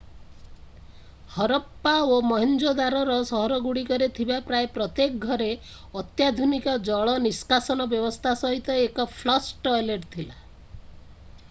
ହରପ୍ପା ଓ ମହେଞ୍ଜୋଦାରୋର ସହରଗୁଡ଼ିକରେ ଥିବା ପ୍ରାୟ ପ୍ରତ୍ୟେକ ଘରେ ଅତ୍ୟାଧୁନିକ ଜଳ ନିଷ୍କାସନ ବ୍ୟବସ୍ଥା ସହିତ ଏକ ଫ୍ଲଶ୍ ଟଏଲେଟ୍ ଥିଲା